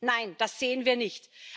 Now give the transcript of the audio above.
Nein, das sehen wir nicht!